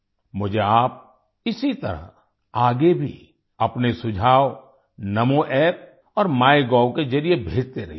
मुझे आप इसी तरह आगे भी अपने सुझाव नामो App और माइगोव के जरिए भेजते रहिए